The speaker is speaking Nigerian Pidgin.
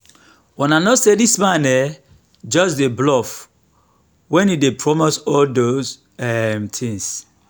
una no say dis man um just dey bluff wen he dey promise all those um things